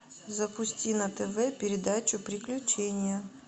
запусти на тв передачу приключения